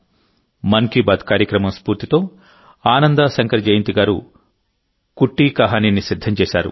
మన్ కీ బాత్ కార్యక్రమం స్ఫూర్తితో ఆనందా శంకర్ జయంత్ గారు కుట్టి కహానీని సిద్ధం చేశారు